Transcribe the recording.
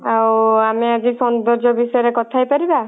ଆଉ ଆମେ ଆଜି ସୌନ୍ଦର୍ଯ୍ୟ ବିଷୟ ରେ କଥା ହେଇପାରିବା?